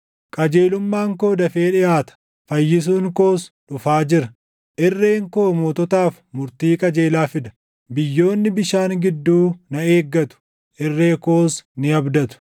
Qajeelummaan koo dafee dhiʼaata; fayyisuun koos dhufaa jira; irreen koo moototaaf murtii qajeelaa fida; biyyoonni bishaan gidduu na eeggatu; irree koos ni abdatu.